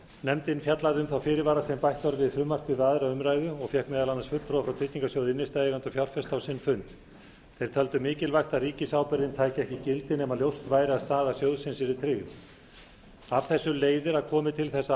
nefndin fjallaði um þá fyrirvara sem bætt var við frumvarpið við aðra umræðu og fékk meðal annarra fulltrúa frá tryggingarsjóði innstæðueigenda og fjárfesta á sinn fund þeir töldu mikilvægt að ríkisábyrgðin tæki ekki gildi nema ljóst væri að staða sjóðsins yrði tryggð af þessu leiðir að komi til þess að